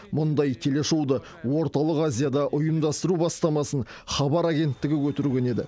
мұндай телешоуды орталық азияда ұйымдастыру бастамасын хабар агенттігі көтерген еді